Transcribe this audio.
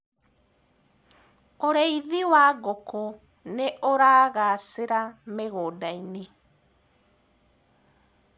ũrĩithi wa ngũkũ nĩuragacira mĩgũnda-inĩ